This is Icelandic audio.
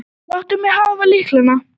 Láttu mig hafa lyklana.